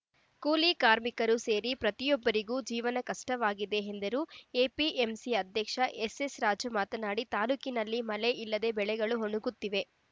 ಕೂಲಿಕಾರ್ಮಿಕರು ಸೇರಿ ಪ್ರತಿಯೊಬ್ಬರಿಗೂ ಜೀವನ ಕಷ್ಟವಾಗಿದೆ ಎಂದರು ಎಪಿಎಂಸಿ ಅಧ್ಯಕ್ಷ ಎಸ್‌ಎಸ್‌ರಾಜು ಮಾತನಾಡಿ ತಾಲೂಕಿನಲ್ಲಿ ಮಳೆ ಇಲ್ಲದೇ ಬೆಳೆಗಳು ಒಣಗುತ್ತಿವೆ